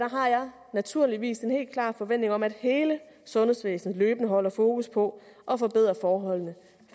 naturligvis en helt klar forventning om at hele sundhedsvæsenet løbende har fokus på at forbedre forholdene